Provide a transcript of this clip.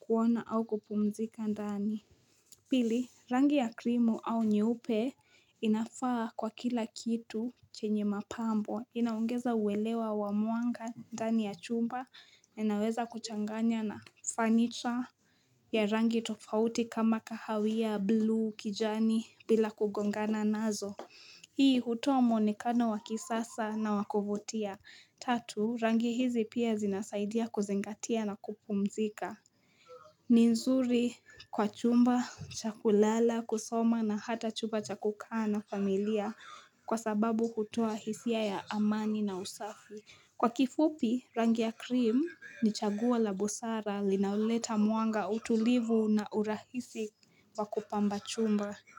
kuona au kupumzika ndani. Pili, rangi ya krimu au nyeupe inafaa kwa kila kitu chenye mapambo. Inaongeza uelewa wa mwanga ndani ya chumba na inaweza kuchanganya na fanicha ya rangi tofauti kama kahawia buluu kijani bila kugongana nazo. Hii, hutoa muonekano wa kisasa na wa kuvutia. Tatu, rangi hizi pia zinasaidia kuzingatia na kupumzika. Ni nzuri kwa chumba, cha kulala, kusoma na hata chumba cha kukaa na familia kwa sababu hutoa hisia ya amani na usafi Kwa kifupi rangi ya krimu ni chaguo la busara linaoleta mwanga utulivu na urahisi wa kupamba chumba.